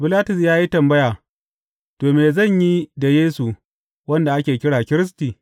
Bilatus ya yi tambaya, To, me zan yi da Yesu wanda ake kira Kiristi?